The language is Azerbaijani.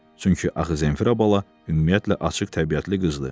Çünki axı Zenfira bala ümumiyyətlə açıq təbiətli qızdır.